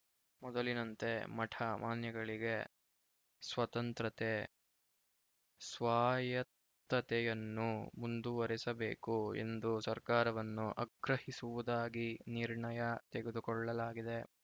ಮೊದಲಿನಂತೆ ಮಠ ಮಾನ್ಯಗಳಿಗೆ ಸ್ವತಂತ್ರತೆ ಸ್ವಾಯತ್ತತೆಯನ್ನು ಮುಂದುವರೆಸಬೇಕು ಎಂದು ಸರ್ಕಾರವನ್ನು ಅಗ್ರಹಿಸುವುದಾಗಿ ನಿರ್ಣಯ ತೆಗೆದುಕೊಳ್ಳಲಾಗಿದೆ